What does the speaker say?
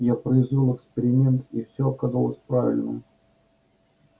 я произвёл эксперимент и все оказалось правильно